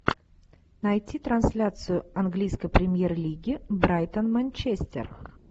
найти трансляцию английской премьер лиги брайтон манчестер